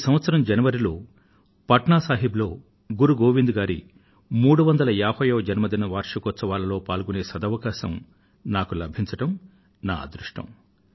ఈ సంవత్సరం జనవరిలో పట్నా సాహిబ్ లో గురు గోవింద్ గారి 350వ జన్మదిన వార్షికోత్సవ ఉత్సవాలలో పాలుపంచుకొనే అవకాశం నాకు లభించడం నా అదృష్టం